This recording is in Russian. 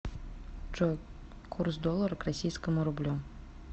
джой курс доллара к российскому рублю